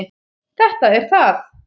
Þetta er það.